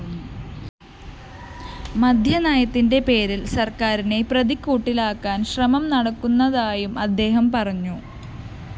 മദ്യനയത്തിന്റെ പേരില്‍ സര്‍ക്കാരിനെ പ്രതിക്കൂട്ടിലാക്കാന്‍ ശ്രമം നടക്കുന്നതായും അദ്ദേഹം പറഞ്ഞു